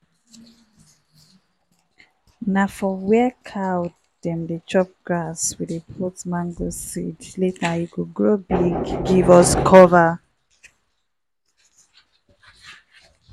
na for where cow dem dey chop grass we dey put mango seed later e go grow big give us cover.